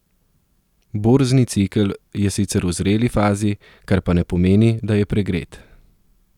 Borzni cikel je sicer v zreli fazi, kar pa ne pomeni, da je pregret.